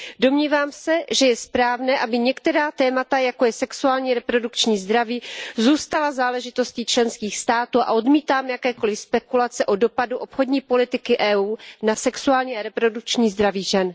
Domnívám se, že je správné, aby některá témata, jako je sexuální a reprodukční zdraví, zůstala záležitostí členských států a odmítám jakékoliv spekulace o dopadu obchodní politiky Evropské unie na sexuální a reprodukční zdraví žen.